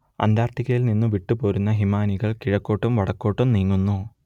അന്റാർട്ടിക്കിൽനിന്നു വിട്ടുപോരുന്ന ഹിമാനികൾ കിഴക്കോട്ടും വടക്കോട്ടും നീങ്ങുന്നു